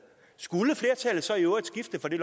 skulle flertallet så i øvrigt skifte får de